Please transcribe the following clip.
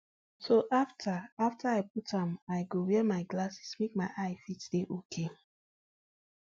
so afta i afta i put am i go wear my glasses make my eye fit dey okay